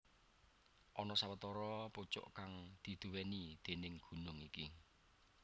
Ana sawetara pucuk kang diduwèni déning gunung iki